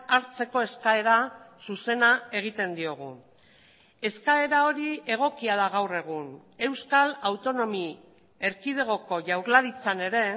hartzeko eskaera zuzena egiten diogu eskaera hori egokia da gaur egun euskal autonomi erkidegoko jaurlaritzan ere